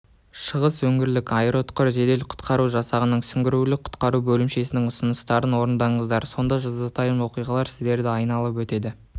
шығыс өңірлік аэроұтқыр жедел құтқару жасағының сүңгуірлік құтқару бөлімшесінің ұсыныстарын орындаңыздар сонда жазатайым оқиғалар сіздерді айналып өтеді